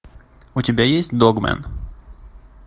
у тебя есть догмэн